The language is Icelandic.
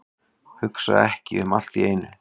Hugsa ekki um allt í einu.